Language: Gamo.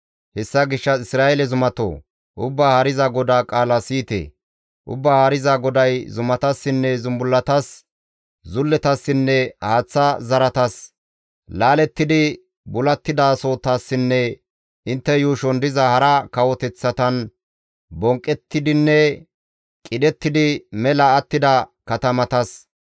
Hessa gishshas Isra7eele zumatoo! Ubbaa Haariza GODAA qaala siyite! Ubbaa Haariza GODAY zumatassinne zumbullatas, zulletassinne haaththa zaratas, laalettidi bulattidasotassinne intte yuushon diza hara kawoteththatan bonqqettidinne qidhettidi mela attida katamatas,